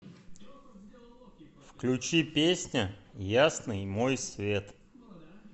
включи песня ясный мой свет